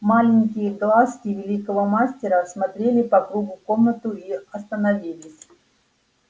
маленькие глазки великого мастера осмотрели по кругу комнату и остановились